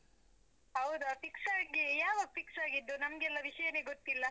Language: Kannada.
ಹೌದ! fix ಆಗಿ, ಯಾವಾಗ fix ಆಗಿದ್ದು, ನಮ್ಗೆಲ್ಲ ವಿಷ್ಯನೆ ಗೊತ್ತಿಲ್ಲ?